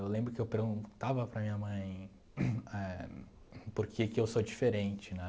Eu lembro que eu perguntava para minha mãe éh por que que eu sou diferente, né?